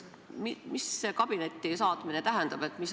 Mida see kabinetti saatmine tähendab?